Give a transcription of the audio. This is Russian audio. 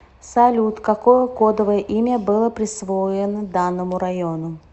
салют какое кодовое имя было присвоено данному району